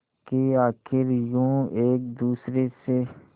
कि आखिर यूं एक दूसरे से